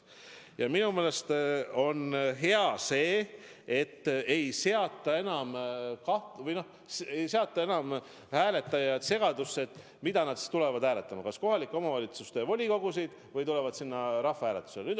Ja minu meelest on hea, et enam ei aeta hääletajaid segadusse, nii et nad ei tea, mida nad siis tulevad hääletama: kas kohaliku omavalitsuse volikogu või andma vastust rahvahääletusel.